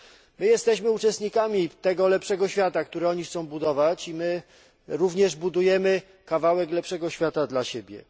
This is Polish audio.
My jesteśmy uczestnikami tego lepszego świata, który oni chcą budować, i my również budujemy kawałek lepszego świata dla siebie.